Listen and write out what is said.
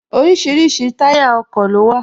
Orísirísi táyà ọkọ̀ ló wà